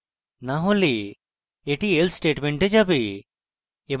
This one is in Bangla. না হলে এটি else statement যাবে